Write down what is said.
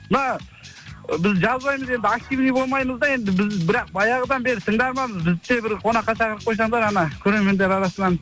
мына біз жазбаймыз енді активный болмаймыз да енді біз бірақ баяғыдан бері тыңдарманбыз бізді де бір қонаққа шақырып қосаңыздар анау көрермендер арасынан